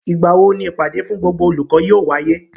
Ìgbà wo ni ìpàdé fún gbogbo olùkọ́ yóò wáyé?